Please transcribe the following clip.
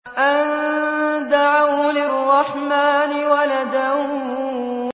أَن دَعَوْا لِلرَّحْمَٰنِ وَلَدًا